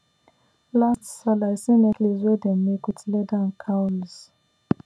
last sallah i see necklace wey dem make with leather and cowries